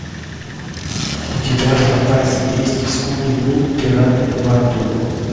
у тебя в запасе есть скуби ду пираты на борту